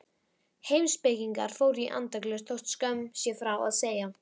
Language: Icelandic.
Heimspekingar fóru í andaglös þótt skömm sé frá að segja.